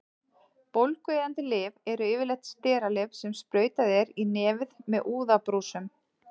Bólgueyðandi lyf eru yfirleitt steralyf sem sprautað er í nefið með úðabrúsum.